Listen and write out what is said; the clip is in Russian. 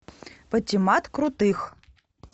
патимат крутых